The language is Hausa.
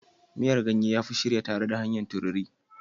Miyan ganye ya fi shirya tare da hanyar tururi.